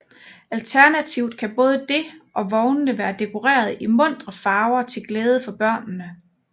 Alternativt kan både det og vognene være dekoreret i muntre farver til glæde for børnene